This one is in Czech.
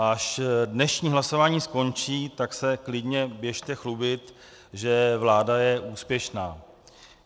Až dnešní hlasování skončí, tak se klidně běžte chlubit, že vláda je úspěšná.